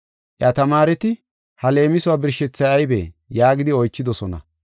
Iya tamaareti, “Ha leemisuwa birshethay aybee?” yaagidi oychidosona